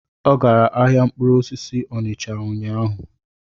Ọ gara ahịa mkpụrụ osisi Onicha ụnyaahụ?